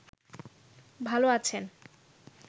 ভাল আছেন